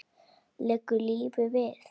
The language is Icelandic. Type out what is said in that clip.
Liggur lífið við?